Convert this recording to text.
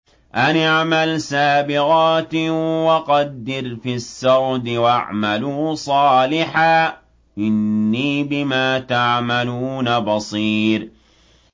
أَنِ اعْمَلْ سَابِغَاتٍ وَقَدِّرْ فِي السَّرْدِ ۖ وَاعْمَلُوا صَالِحًا ۖ إِنِّي بِمَا تَعْمَلُونَ بَصِيرٌ